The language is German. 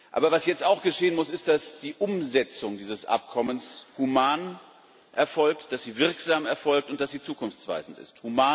Aber was jetzt auch geschehen muss, ist, dass die Umsetzung dieses Abkommens human erfolgt, dass sie wirksam erfolgt und dass sie zukunftsweisend ist.